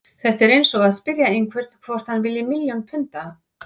Þetta er eins og að spyrja einhvern hvort hann vilji milljón punda.